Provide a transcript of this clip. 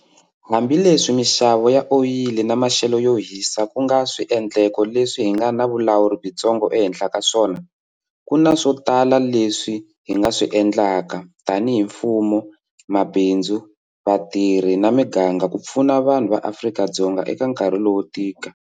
Hambileswi mixavo ya oyili na maxelo yo hisa ku nga swiendleko leswi hi nga na vulawuri byitsongo ehenhla ka swona, ku na swo tala leswi hi nga swi endlaka, tanihi mfumo, mabindzu, vatirhi na miganga ku pfuna vanhu va Afrika-Dzonga eka nkarhi lowo tika.